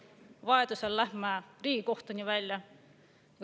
Vajadusel lähme me Riigikohtuni välja.